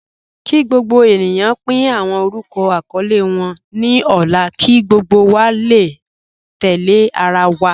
Kí gbogbo ènìyàn pín awọn orúkọ àkọọlẹ wọn ní ọ̀la kí gbogbo wa lè tẹ̀lẹ̀ àrà wa.